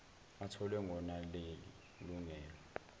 atholwe ngonaleli lungelo